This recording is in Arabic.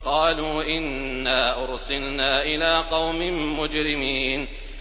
قَالُوا إِنَّا أُرْسِلْنَا إِلَىٰ قَوْمٍ مُّجْرِمِينَ